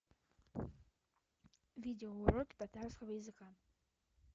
видеоуроки татарского языка